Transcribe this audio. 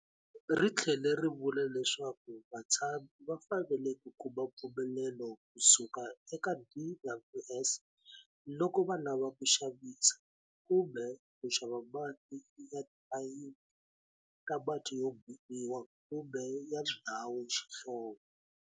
Ri tlhele ri vula leswaku vatshami va fanele ku kuma mpfumelelo kusuka eka DWS loko va lava ku xavisa kumbe ku xava mati ya tiphayiphi ta mati yo boriwa kumbe ya ndhawu xihlovo.